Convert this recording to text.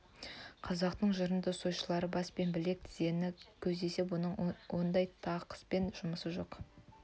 қазақтың жырынды сойылшылары бас пен білек тізені көздесе бұның ондай тақыспен жұмысы жоқ